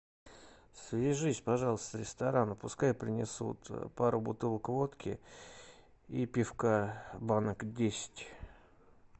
свяжись пожалуйста с рестораном пускай принесут пару бутылок водки и пивка банок десять